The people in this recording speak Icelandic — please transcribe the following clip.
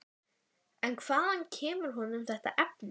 En hvaðan kemur honum þetta efni?